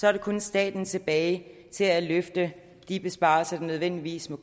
er der kun staten tilbage til at løfte de besparelser der nødvendigvis må